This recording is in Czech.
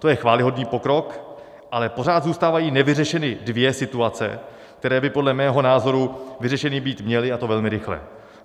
To je chvályhodný pokrok, ale pořád zůstávají nevyřešeny dvě situace, které by podle mého názoru vyřešeny být měly, a to velmi rychle.